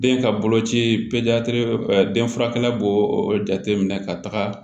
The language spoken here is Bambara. Den ka boloci den furakɛla b'o jateminɛ ka taga